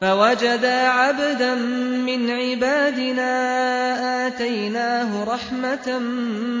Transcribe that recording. فَوَجَدَا عَبْدًا مِّنْ عِبَادِنَا آتَيْنَاهُ رَحْمَةً